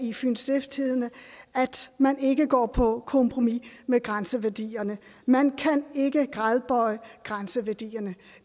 i fyens stiftstidende at man ikke går på kompromis med grænseværdierne man kan ikke gradbøje grænseværdierne